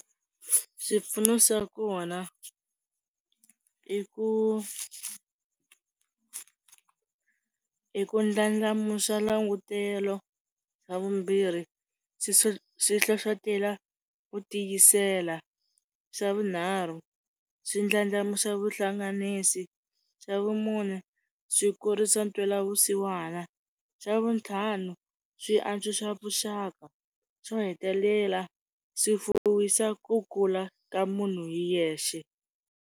Swipfuno swa kona i ku i ku ndlandlamuxa langutele xa vumbirhi swi hlohlotelo ku tiyisela, xa vunharhu swi ndlandlamuxa vuhlanganisi xa vumune swi kurisa ntwela vusiwana xa vutlhanu swi antswisa vuxaka xo hetelela swi fuwisa ku kula ka munhu hi yexe.